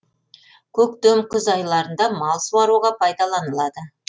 көктем күз айларында мал суаруға пайдаланылады